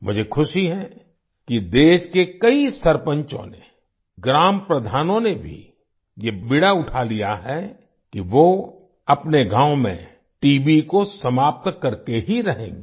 मुझे खुशी है कि देश के कई सरपंचों ने ग्राम प्रधानों ने भी ये बीड़ा उठा लिया है कि वो अपने गांव में टीबी को समाप्त करके ही रहेंगे